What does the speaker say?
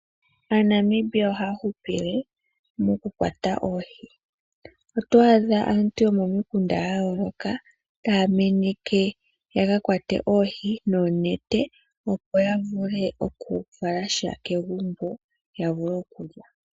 AaNamibia ohaa hupile moku kwata oohi. Otwa adha aantu yomomikunda yayoloka ta meneka yaka kwate oohi noonete. Opo ya vule oku fala sha kegumbo. Ya vule okulya.